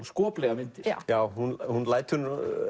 skoplegar myndir hún hún lætur